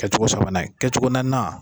Kɛcogo sabanan ye, kɛcogo naaninan